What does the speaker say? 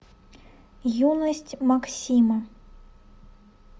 юность максима